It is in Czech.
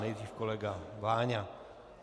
Nejdřív kolega Váňa.